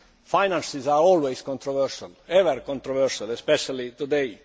Finances are always controversial, especially today.